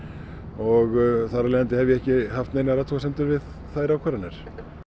og þar af leiðandi hef ég ekki haft neinar athguasemdir við þær ákvarðanir